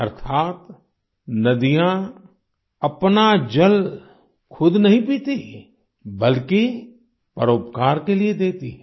अर्थात् नदियाँ अपना जल खुद नहीं पीती बल्कि परोपकार के लिये देती हैं